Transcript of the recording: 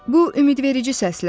Bu ümidverici səslənirdi.